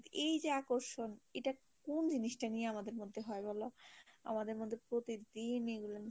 এই যে আকর্ষণ এটা কোন জিনিসটা নিয়ে আমাদের মধ্যে হয় বলো, আমাদের মধ্যে প্রতিদিন এগুলা